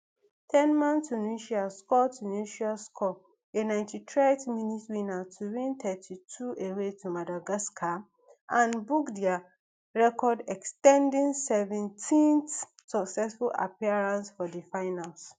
ten man tunisia score tunisia score a ninety-threerd minute winner to win thirty-two away to madagascar and book dia record ex ten ding seventeenth successive appearance for di finals